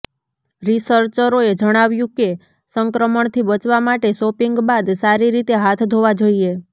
રિસર્ચરોએ જણાવ્યું કે સંક્રમણથી બચવા માટે શોપિંગ બાદ સારી રીતે હાથ ધોવા જોઈએ